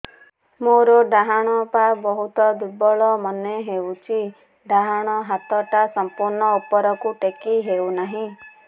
ମୋର ଡାହାଣ ପାଖ ବହୁତ ଦୁର୍ବଳ ମନେ ହେଉଛି ଡାହାଣ ହାତଟା ସମ୍ପୂର୍ଣ ଉପରକୁ ଟେକି ହେଉନାହିଁ